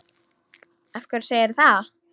Af hverju segirðu það?